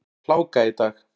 Hláka í dag.